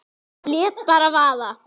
Lét bara vaða.